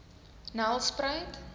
nelspruit